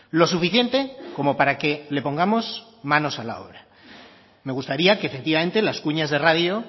lo suficiente como para que le pongamos manos a la obra me gustaría que efectivamente las cuñas de radio